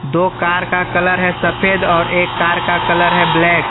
दो कार का कलर है सफेद और एक कार का कलर है ब्लैक ।